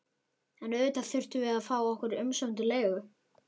En auðvitað þurftum við að fá okkar umsömdu leigu.